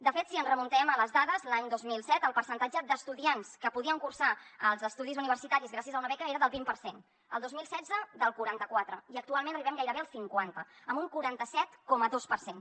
de fet si ens remuntem a les dades l’any dos mil set el percentatge d’estudiants que podien cursar els estudis universitaris gràcies a una beca era del vint per cent el dos mil setze del quaranta·quatre i actualment arribem gairebé al cinquanta amb un quaranta set coma dos per cent